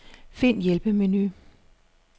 Find hjælpemenu.